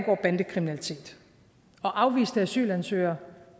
og bandekriminalitet og afviste asylansøgere